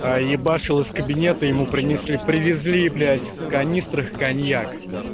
а ебашил из кабинета ему принесли привезли блять в канистрах коньяк